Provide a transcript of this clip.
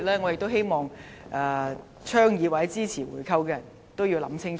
我希望倡議或支持回購的人清楚考慮。